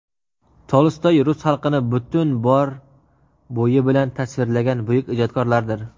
Tolstoy rus xalqini butun bor bo‘yi bilan tasvirlagan buyuk ijodkorlardir.